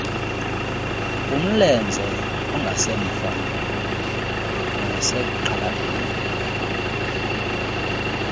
kumlenze ongasemva nasegxalabeni